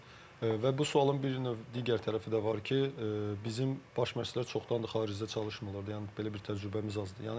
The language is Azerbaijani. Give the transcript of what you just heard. və bu sualın bir növ digər tərəfi də var ki, bizim baş məşçilər çoxdandır xaricdə çalışmırlar, yəni belə bir təcrübəmiz azdır.